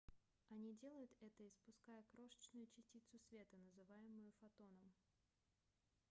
они делают это испуская крошечную частицу света называемую фотоном